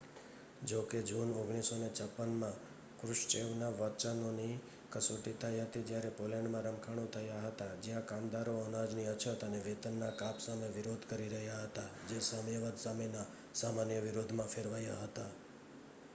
જો કે જૂન 1956માં ક્રુશ્ચેવના વચનોની કસોટી થઈ હતી જ્યારે પોલૅન્ડમાં રમખાણો થયા હતા જ્યાં કામદારો અનાજની અછત અને વેતનના કાપ સામે વિરોધ કરી રહ્યા હતા જે સામ્યવાદ સામેના સામાન્ય વિરોધમાં ફેરવાયા હતા